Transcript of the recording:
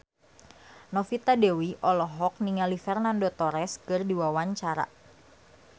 Novita Dewi olohok ningali Fernando Torres keur diwawancara